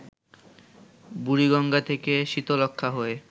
বুড়িগঙ্গা থেকে শীতলক্ষ্যা হয়ে